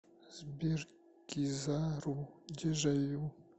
сбер кизару дежавю